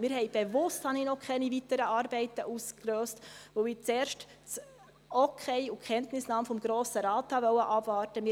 Ich habe bewusst noch keine weiteren Arbeiten ausgelöst, weil ich zuerst das Okay und die Kenntnisnahme des Grossen Rates abwarten wollte.